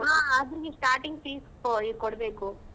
ಹ ಅದು ನೀನ್ starting fees ಹೊಯಿ ಕೊಡ್ಬೇಕು.